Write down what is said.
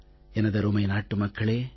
எனதருமை நாட்டு மக்களே